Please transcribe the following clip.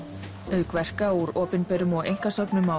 auk verka úr opinberum og einkasöfnum á